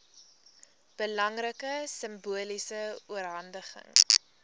belangrike simboliese oorhandiging